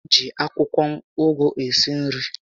E ji akwụkwọ ụgụ esi nri